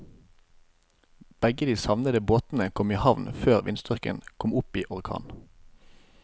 Begge de savnede båtene kom i havn før vindstyrken kom opp i orkan.